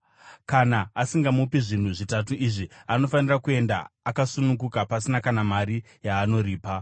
Kana asingamupi zvinhu zvitatu izvi, anofanira kuenda akasununguka pasina kana mari yaanoripa.